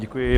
Děkuji.